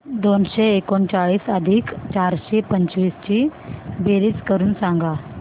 दोनशे एकोणचाळीस अधिक चारशे पंचवीस ची बेरीज करून सांगा